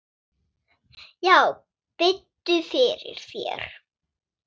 Já, biddu fyrir þér.